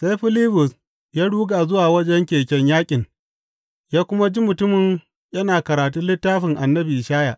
Sai Filibus ya ruga zuwa wajen keken yaƙin ya kuma ji mutumin yana karatun littafin annabin Ishaya.